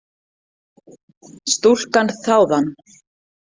Stúlkan þáði hann.